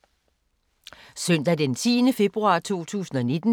Søndag d. 10. februar 2019